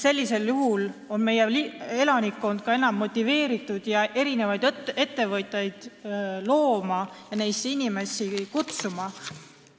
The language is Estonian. Sellisel juhul on meie elanikkond ka enam motiveeritud ettevõtteid looma ja neisse inimesi kutsuma.